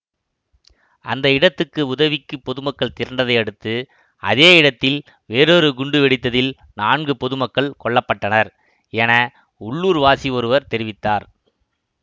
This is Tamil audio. அந்த இடத்துக்கு உதவிக்கு பொதுமக்கள் திரண்டதை அடுத்து அதே இடத்தில் வேறொரு குண்டு வெடித்ததில் நான்கு பொதுமக்கள் கொல்ல பட்டனர் என உள்ளூர் வாசி ஒருவர் தெரிவித்தார்